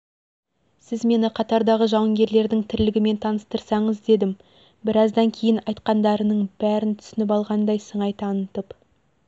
сіз мені қатардағы жауынгерлердің тірлігімен таныстырсаңыз дедім біраздан кейін айтқандарының бәрін түсініп алғандай сыңай танытып